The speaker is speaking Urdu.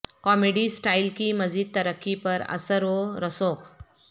کامیڈی سٹائل کی مزید ترقی پر اثر و رسوخ